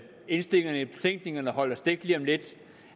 indstillingerne i betænkningen holder stik lige om lidt